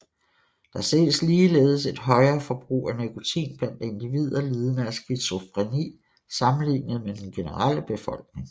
Der ses ligeledes et højere forbrug af nikotin blandt individer lidende af skizofreni sammenlignet med den generelle befolkning